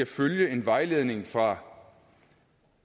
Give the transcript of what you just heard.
følge en vejledning fra